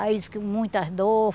Aí diz que muitas dor.